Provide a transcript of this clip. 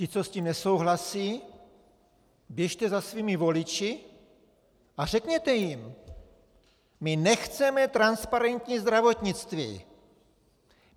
Ti, co s tím nesouhlasí, běžte za svými voliči a řekněte jim: My nechceme transparentní zdravotnictví!